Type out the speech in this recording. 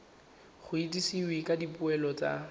go itsisiwe ka dipoelo tsa